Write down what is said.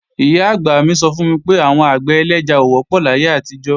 Ìyá-àgbà mí sọ fún mi pé, àwọn àgbẹ̀ ẹlẹ́ja ò wọ́pọ̀ láyé àtijọ́